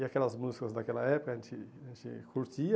E aquelas músicas daquela época a gente a gente curtia.